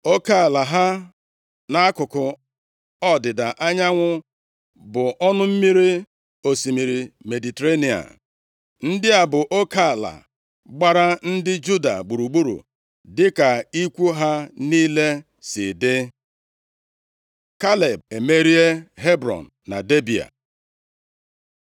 Oke ala ha nʼakụkụ ọdịda anyanwụ bụ ọnụ mmiri osimiri Mediterenịa. Ndị a bụ oke ala gbara ndị Juda gburugburu dịka ikwu ha niile si dị. Kaleb emerie Hebrọn na Debịa